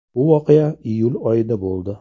Bu voqea iyul oyida bo‘ldi.